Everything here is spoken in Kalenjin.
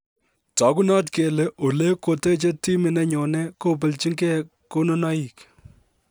Tagunot kele Ole koteche timit nenyone kobelchinge konunoik